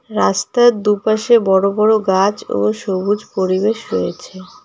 রাস্তার দুপাশে বড় বড় গাছ ও সবুজ পরিবেশ রয়েছে।